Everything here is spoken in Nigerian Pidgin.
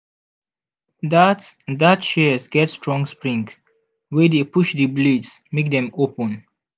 that that shears get strong spring wey dey push the blades make dem open.